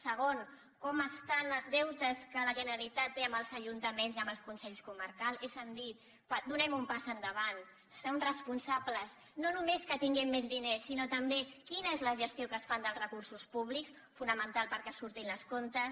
segon com estan els deutes que la generalitat té amb els ajuntaments i amb els consells comarcals és a dir donem un pas endavant siguem responsables no només que tinguem més diners sinó també quina és la gestió que es fa dels recursos públics fonamental perquè surtin els comptes